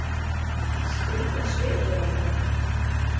Skrýtinn svipur á henni.